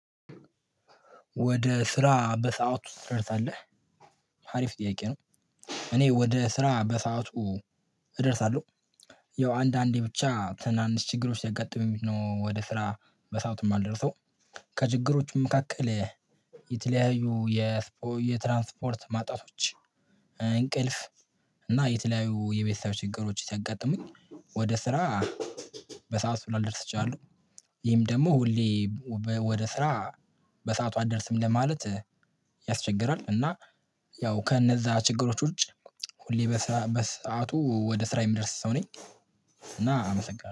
ወደ ስራ በሰአቱ ትደረሳለህ አሪፍ ጥያቄ ነው? እኔ ወደ ስራ በሰአቱ እደርሳለሁ። ያው አንዳንዴ ብቻ ትናንሽ ችግሮች ሲያገጥሙኝ ነው ወደ ስራ በሰአቱ የማልደርሰው ከችግሮቹ መካከል የተለያዩ የትራንስፖርት ማጣቶች እንቅልፍ እና የተለያዩ የቤተሰብ ችግሮች ስያጋጥሙኝ ወደ ስራ በሰአቱ ላልደርስ እቺላለሁ። ይሄም ደግሞ ሁሌ ወደ ስራ በሰአቱ አትደርስም ለማለት ያስቸግራል እና ያው ከእነዚያ ችግሮች ውጭ ሁሌ በሰአቱ ወደ ስራ የሚደርስ ሰው ነኝ። እና አመሰግነለሁ